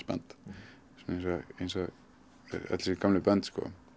band eins og öll þessi gömlu bönd